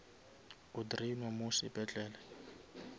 o drainwa mo sepetlele